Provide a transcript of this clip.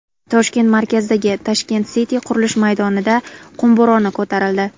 Toshkent markazidagi Tashkent City qurilish maydonida qum bo‘roni ko‘tarildi.